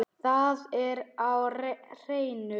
Það er á hreinu.